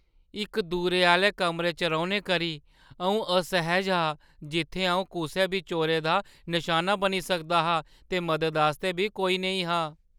इक दूरै आह्‌ले कमरे च रौह्‌ने करी अʼऊं असैह्‌ज हा जित्थै अʼऊं कुसै बी चोरै दा नशाना बनी सकदा हा ते मदद आस्तै बी कोई नेईं हा।